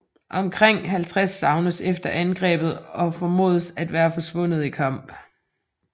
Omkring 50 savnes efter angrebet og formodes at være forsvundet i kamp